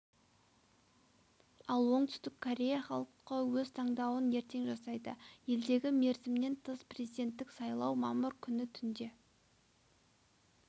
ал оңтүстік корея халқы өз таңдауын ертең жасайды елдегі мерзімнен тыс президенттік сайлау мамыр күні түнде